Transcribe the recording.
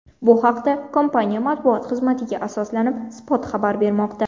Bu haqda, kompaniya matbuot xizmatiga asoslanib, Spot xabar bermoqda .